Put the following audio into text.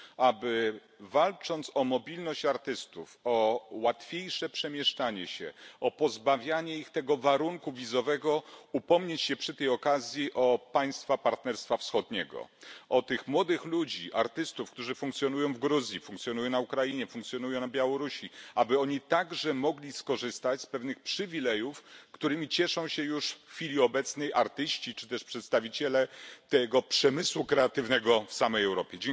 Aby walcząc o mobilność artystów, o łatwiejsze przemieszczanie się, o pozbawianie ich warunku wizowego, upomnieć się również o państwa Partnerstwa Wschodniego, o tych młodych ludzi, artystów, którzy funkcjonują w Gruzji, którzy funkcjonują na Ukrainie, funkcjonują na Białorusi, aby oni także mogli skorzystać z pewnych przywilejów, którymi cieszą się już w chwili obecnej artyści czy też przedstawiciele tego przemysłu kreatywnego w samej Europie.